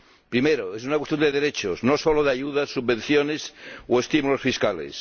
Primero es una cuestión de derechos, no solo de ayudas, subvenciones o estímulos fiscales.